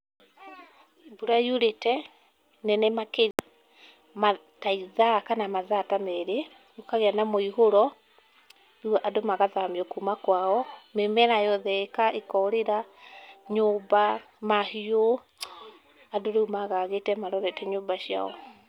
Mbura yurĩte nene makĩria, ta ithaa kana mathaa ta merĩ, gũkagĩa na mũihũro, rĩu andũ magathamio kuma kwao. Mĩmera yothe ĩkorĩra, nyũmba, mahiũ, andũ, rĩu magagĩte marorete nyũmba ciao.